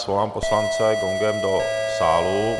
Svolám poslance gongem do sálu.